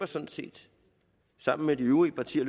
sådan set sammen med de øvrige partier